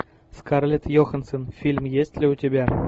скарлетт йоханссон фильм есть ли у тебя